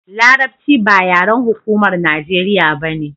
larabci ba yaren hukumar najeriya bane